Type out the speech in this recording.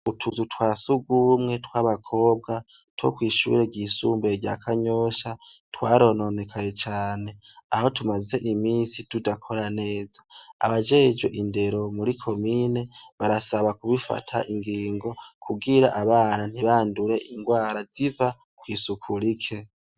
Utuzu twa sugumwe tw'abakobwa, two kw'ishure ryisumbuye rya Kanyosha twarononekaye cane, aho tumaze imisi tudakora neza, abajejwe indero muri komine barasaba gufata ingingo, kugira abana ntibandure ingwara ziva kw'isuku rike.